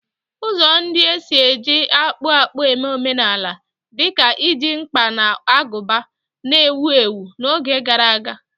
Ụzọ ndị e si eji akpụ akpụ eme omenala, dị ka iji mkpa na agụba, na-ewu ewu n'oge gara aga